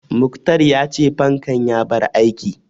Muktar ya ce fankan ya bar aiki